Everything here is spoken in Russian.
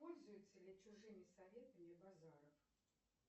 пользуется ли чужими советами базаров